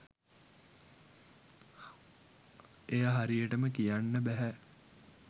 එය හරියටම කියන්න බැහැ.